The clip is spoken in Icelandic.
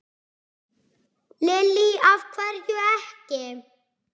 Lillý: Af hverju ekki?